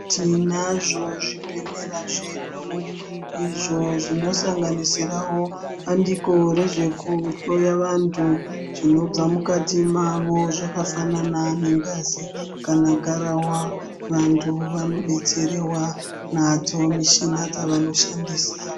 Tinazvo zvibhedhlera zvedu izvo zvinosanganisirawo bandiko rezvekuhloya vantu zvinobva mukati mavo zvakafanana ngengazi kana garahwa , vantu vanobetserewa nadzo mishina dzavanoshandisa.